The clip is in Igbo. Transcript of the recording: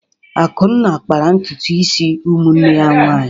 Akunna kpara ntutu isi ụmụnne ya nwanyị.